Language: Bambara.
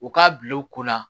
U k'a bila u kunna